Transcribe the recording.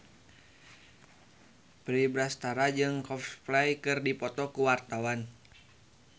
Verrell Bramastra jeung Coldplay keur dipoto ku wartawan